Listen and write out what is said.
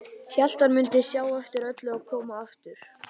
Hélt hann mundi sjá eftir öllu og koma aftur.